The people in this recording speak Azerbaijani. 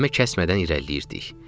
Kəlmə kəsmədən irəliləyirdik.